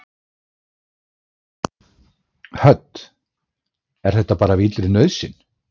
Hödd: Er þetta bara af illri nauðsyn?